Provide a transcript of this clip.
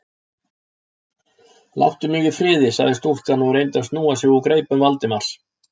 Láttu mig í friði- sagði stúlkan og reyndi að snúa sig úr greipum Valdimars.